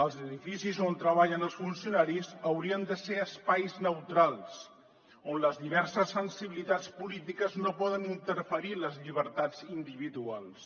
els edificis on treballen els funcionaris haurien de ser espais neutrals on les diverses sensibilitats polítiques no poden interferir en les llibertats individuals